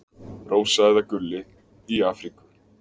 Rósa eða Gulli: Í Afríku.